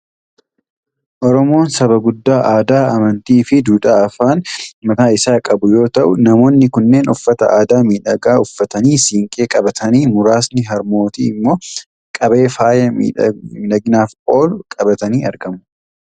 Oromoon Saba gudda aadaa, amantii, duudhaa fi afaan mataa isaa qabu yoo ta'u, namoonni kunneen uffata aadaa miidhagaa uffatanii, siinqee qabatanii, muraasni harmootii immoo qabee faaya miidhaginaaf oolu qabatanii argamu.